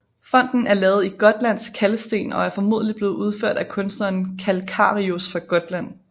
Fonten er lavet i gotlandsk kalksten og er formodentlig blevet udført af kunstneren Calcarius fra Gotland